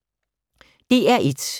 DR1